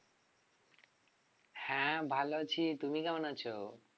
হ্যাঁ ভালো আছি তুমি কেমন আছ?